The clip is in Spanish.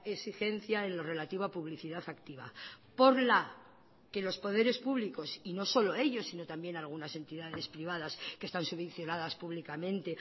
exigencia en lo relativo a publicidad activa por la que los poderes públicos y no solo ellos sino también algunas entidades privadas que están subvencionadas públicamente